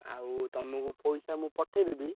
ଆଉ ତମୁକୁ, ପଇସା ମୁଁ ପଠେଇଦେବି।